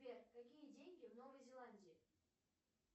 сбер какие деньги в новой зеландии